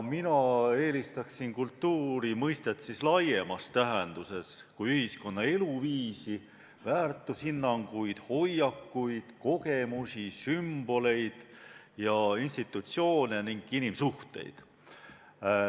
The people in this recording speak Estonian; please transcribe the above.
Mina eelistan kultuuri mõista laiemas tähenduses: kui ühiskonna eluviisi, väärtushinnanguid, hoiakuid, kogemusi, sümboleid, institutsioone ning inimsuhteid.